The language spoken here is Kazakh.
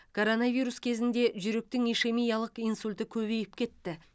коронавирус кезінде жүректің ишемиялық инсульті көбейіп кетті